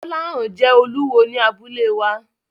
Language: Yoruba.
Gbolahan jẹ́ olúwo ní abúlé wa.